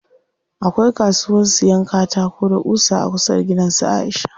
Akwai kasuwan siyan katako da ƙusa a kusa da gidan su Aisha.